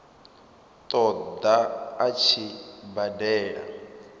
ṱo ḓa a tshi badela